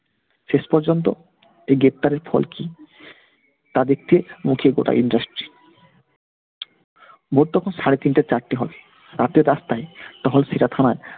শেষ পর্যন্ত এই গ্রেফতারের ফল কি তা দেখতে মুখের গোড়ায় industry । ভোর তখন সাড়েতিনটে চারটে হবে, রাতের রাস্তায় তখন থানার